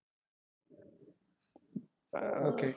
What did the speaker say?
Okay.